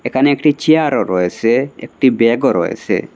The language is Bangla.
এখানে একটি চেয়ারও রয়েসে একটি ব্যাগও রয়েসে।